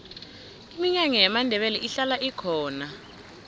iminyanya yamandebele ihlala ikhona